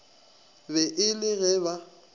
be e le ge ba